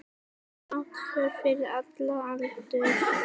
Athöfn fyrir allan aldur.